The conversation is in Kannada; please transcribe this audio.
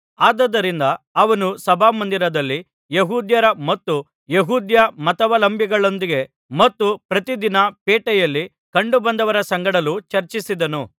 ಆದುದರಿಂದ ಅವನು ಸಭಾಮಂದಿರದಲ್ಲಿ ಯೆಹೂದ್ಯರ ಮತ್ತು ಯೆಹೂದ್ಯ ಮತಾವಲಂಬಿಗಳೊಂದಿಗೆ ಮತ್ತು ಪ್ರತಿದಿನ ಪೇಟೆಯಲ್ಲಿ ಕಂಡುಬಂದವರ ಸಂಗಡಲೂ ಚರ್ಚಿಸಿದನು